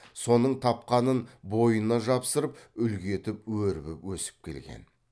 соның тапқанын бойына жапсырып үлгі етіп өрбіп өсіп келген